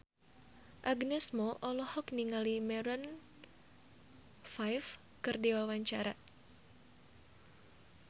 Agnes Mo olohok ningali Maroon 5 keur diwawancara